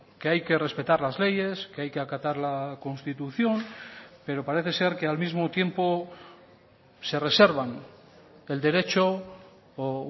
que hay que respetar las leyes que hay que acatar la constitución pero parece ser que al mismo tiempo se reservan el derecho o